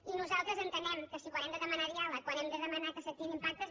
i nosaltres entenem que si quan hem de demanar diàleg quan hem de demanar que s’activin pactes